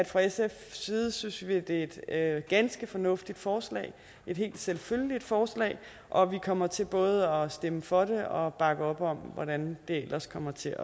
fra sfs side synes at det er et ganske fornuftigt forslag et helt selvfølgeligt forslag og vi kommer til både at stemme for det og bakke op om hvordan det ellers kommer til